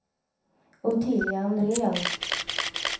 Ottilia Andrén